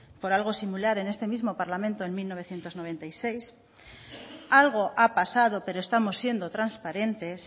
por algo similar en este mismo parlamento en mil novecientos noventa y seis algo ha pasado pero estamos siendo transparentes